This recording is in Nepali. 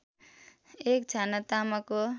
एक छाना तामाको